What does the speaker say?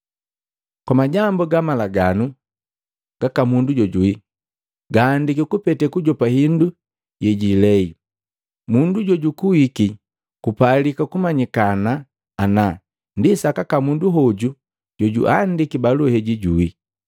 Kwa majambu ga malaganu gaka mundu jojuwi, gaandiki kupete kujopa hindu yejiilei mundu jojukuwiki kupalika kumanyikana ana ndi sakaka mundu hoju jojiandiki balua heji juwi.